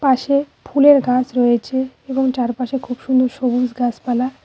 পাশে ফুলের গাছ রয়েছে এবং চারপাশে খুব সুন্দর সবুজ গাছপালা।